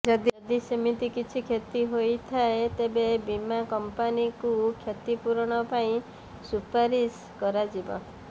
ଯଦି ସେମିତି କିଛି କ୍ଷତି ହୋଇଥାଏ ତେବେ ବୀମା କଂପାନୀଙ୍କୁ କ୍ଷତିପୂରଣ ପାଇଁ ସୁପାରିଶ କରାଯିବ